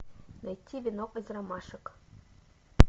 найти венок из ромашек